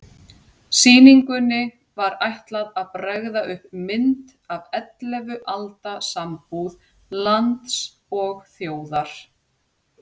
Sýningunni var ætlað að bregða upp mynd af ellefu alda sambúð lands og þjóðar.